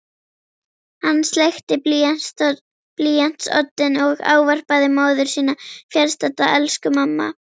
Hann sleikti blýantsoddinn og ávarpaði móðir sína fjarstadda: Elsku mamma